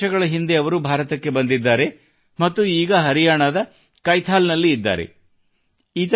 2 ವರ್ಷಗಳ ಹಿಂದೆ ಅವರು ಭಾರತಕ್ಕೆ ಬಂದಿದ್ದಾರೆ ಮತ್ತು ಈಗ ಹರಿಯಾಣದ ಕೈಥಲ್ ನಲ್ಲಿ ಇದ್ದಾರೆ